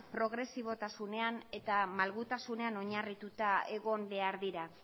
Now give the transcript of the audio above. progresibotasunean eta malgutasunean oinarrituta egon behar dira